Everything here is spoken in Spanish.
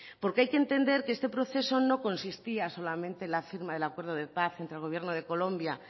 porque hay que entender que este proceso no consistía solamente en la firma del acuerdo de paz entre el gobierno de colombia